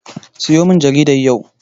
Siyomin jaridar yau.